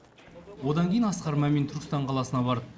одан кейін асқар мамин түркістан қаласына барды